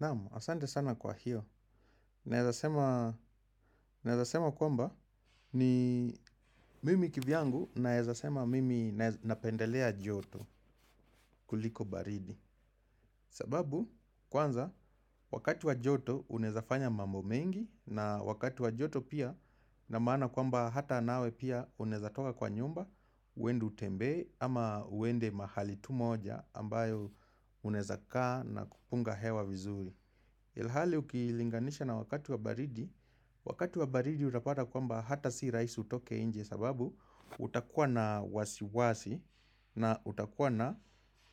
Naam, asante sana kwa hiyo. Naweza sema Naezasema kwamba ni mimi kivyangu naezasema mimi napendelea joto kuliko baridi. Sababu, kwanza, wakati wa joto unaezafanya mambo mengi na wakati wa joto pia na maana kwamba hata nawe pia unaeza toka kwa nyumba, uende utembee ama uende mahali tu moja ambayo unaeza kaa na kupunga hewa vizuri. Ilhali ukilinganisha na wakati wa baridi, wakati wa baridi utapata kwamba hata si rahisi utoke nje sababu utakuwa na wasiwasi na utakuwa na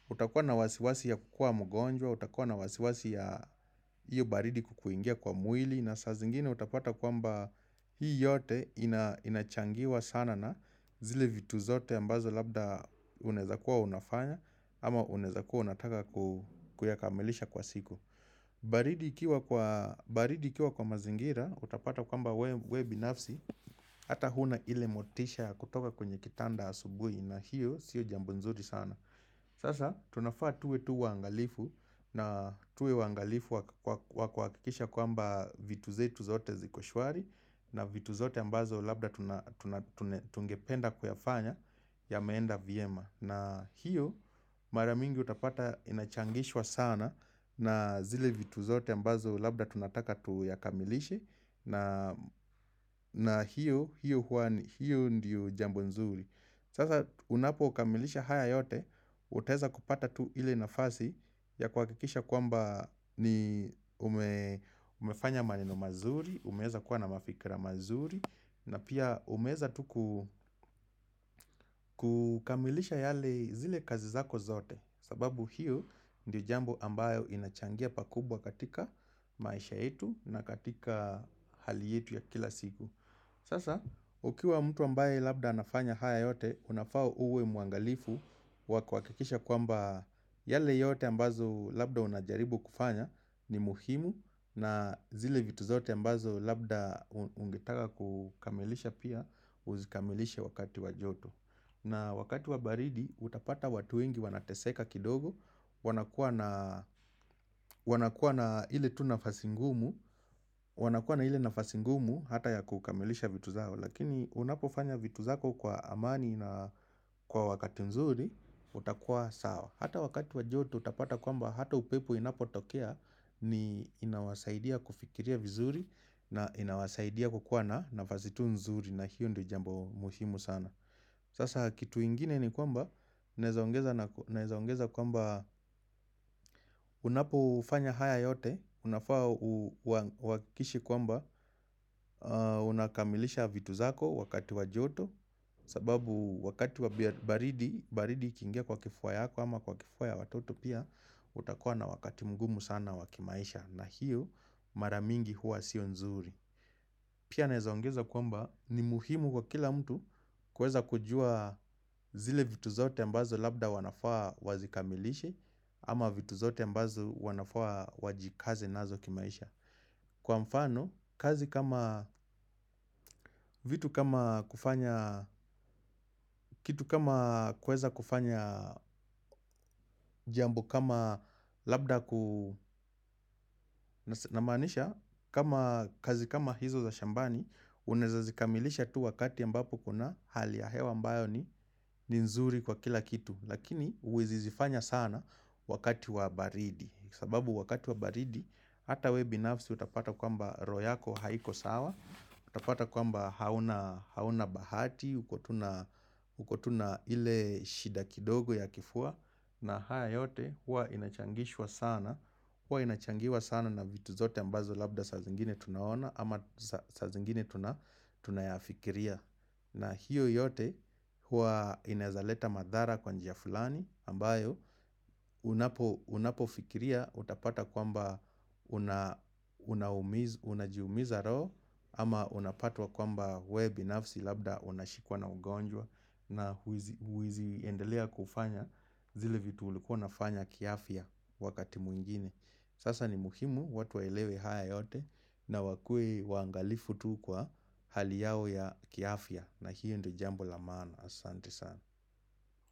utakuwa na wasiwasi ya kukua mgonjwa, utakuwa na wasiwasi ya hiyo baridi kukuingia kwa mwili na saa zingine utapata kwamba hii yote ina inachangiwa sana na zile vitu zote ambazo labda unaeza kuwa unafanya ama unaeza kuwa unataka ku kuyakamilisha kwa siku baridi ikiwa kwa baridi ikiwa kwa mazingira utapata kwamba wewe wewe binafsi Hata huna ile motisha kutoka kwenye kitanda asubuhi na hiyo sio jambo nzuri sana Sasa tunafaa tuwe tu wangalifu na tuwe wangalifu wakuwakuha wakuhakikisha kwamba vitu zetu zote ziko shwari na vitu zote ambazo labda tuna tuna tuna tungependa kuyafanya yameenda vyema na hiyo mara mingi utapata inachangishwa sana na zile vitu zote ambazo labda tunataka tuyakamilishe na hiyo hiyo hua ni hiyo ndiyo jambo nzuri. Sasa unapo kamilisha haya yote, utaeza kupata tu ile nafasi ya kuhakikisha kwamba ni ume umefanya maneno mazuri, umeeza kuwa na mafikira mazuri, na pia umeeza tu ku kukamilisha yale zile kazi zako zote, sababu hiyo ndiyo jambo ambayo inachangia pakubwa katika maisha yetu na katika hali yetu ya kila siku. Sasa, ukiwa mtu ambaye labda anafanya haya yote, unafaa uwe muangalifu wa kuhakikisha kwamba yale yote ambazo labda unajaribu kufanya ni muhimu na zile vitu zote ambazo labda unge ungetaka kukamilisha pia uzikamilishe wakati wa joto. Na wakati wa baridi, utapata watu wengi wanateseka kidogo, wanakuwa na wanakuwa na ile tu nafasi ngumu, wanakuwa na ile nafasi ngumu hata ya kukamilisha vitu zao, lakini unapofanya vitu zako kwa amani na kwa wakati nzuri, utakuwa sawa. Hata wakati wa joto, utapata kwamba hata upepo inapotokea, ni inawasaidia kufikiria vizuri, na inawasaidia kukuwa na nafasi tu nzuri, na hiyo ndo jambo muhimu sana. Sasa kitu ingine ni kwamba naeza ongeza naku naeza ongeza kwamba unapofanya haya yote, unafaa uwa uwahikikishe kwamba unakamilisha vitu zako wakati wa joto sababu wakati wa bia baridi, baridi ikingia kwa kifua yako ama kwa kifua ya watoto pia utakua na wakati mngumu sana wa kimaisha na hiyo mara mingi huwa sio nzuri Pia naeza ongeza kwamba ni muhimu kwa kila mtu kuweza kujua zile vitu zote ambazo labda wanafaa wazikamilishe ama vitu zote ambazo wanafaa wajikaze nazo kimaisha. Kwa mfano, kazi kama vitu kama kufanya, kitu kama kuweza kufanya jambo kama labda ku na maanisha kama kazi kama hizo za shambani, unaeza zikamilisha tu wakati ambapo uko na hali ya hewa ambayo ni, ni nzuri kwa kila kitu. Lakini huwezi zifanya sana wakati wa baridi sababu wakati wa baridi hata wewe binafsi utapata kwamba roho yako haiko sawa utapata kwamba hauna hauna bahati uko tu na uko tu na ile shida kidogo ya kifua na haya yote huwa inachangishwa sana huwa inachangiwa sana na vitu zote ambazo labda saa zingine tunaona ama saa saa zingine tuna tunayafikiria na hiyo yote huwa inaeza leta madhara kwa njia fulani ambayo unapo unapo fikiria utapata kwamba kuna unajiumiza roho ama unapatwa kwamba wewe binafsi labda unashikwa na ugonjwa na huizi huizi endelea kufanya zile vitu ulikuwa unafanya kiafya wakati mwingine. Sasa ni muhimu watu waelewe haya yote na wakuwe wa angalifu tu kwa hali yao ya kiafya na hiyo ndo jambo la maana asante sana.